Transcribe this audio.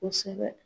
Kosɛbɛ